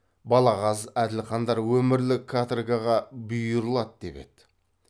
балағаз әділхандар өмірлік каторгаға бұйырылады деп еді